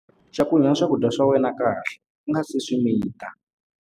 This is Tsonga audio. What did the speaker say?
Cakunya swakudya swa wena kahle u nga si swi mita.